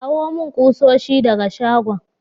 Kawo mun kusoshi daga shagon.